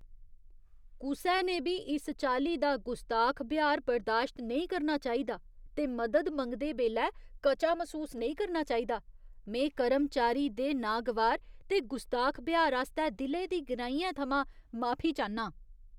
कुसै ने बी इस चाल्ली दा गुस्ताख ब्यहार बरदाश्त नेईं करना चाहिदा ते मदद मंगदे बेल्लै कचा मसूस नेईं करना चाहिदा। में कर्मचारी दे विकर्शनकारी ते गुस्ताख ब्यहार आस्तै दिलै दी गैह्राइयें थमां माफी चाह्न्नां।